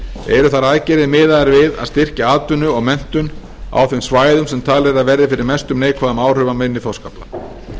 eru þær aðgerðir miðaðar við að styrkja atvinnu og menntun á þeim svæðum sem talið er að verði fyrir mestum neikvæðum áhrifum af minni þorskafla er